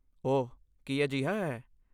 ਓਹ, ਕੀ ਅਜਿਹਾ ਹੈ?